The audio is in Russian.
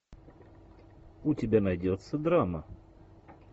у тебя найдется драма